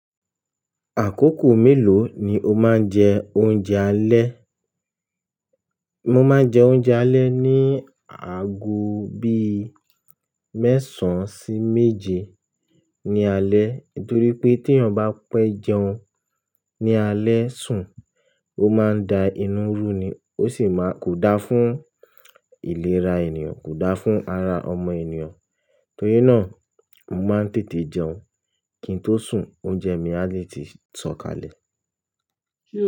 Àkókò mélòó ni o máa ń jẹ oúnjẹ alẹ́? Mo máa ń jẹ oúnjẹ alẹ́ ní aago bíi mẹ́sàn án sí méje ní alẹ́. Nítorí pé tí èèyàn bá pẹ́ jẹun ní alẹ́ sùn, ó máa ń da inú rú ni, ó sì máa kò da fún ìlera ènìyàn, kò da fún ara ọmọ ènìyàn. Torí náà, mo máa ń tètè jẹun kí n tó sùn, oúnjẹ mi a lè ti sọ̀kalẹ̀.